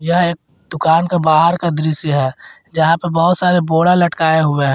यह एक दुकान का बाहर का दृश्य है जहां पर बहुत सारे बोरा लटकाए हुए हैं।